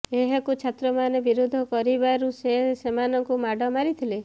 ଏହାକୁ ଛାତ୍ରମାନେ ବିରୋଧ କରିବାରୁ ସେ ସେମାନଙ୍କୁ ମାଡ ମାରିଥିଲେ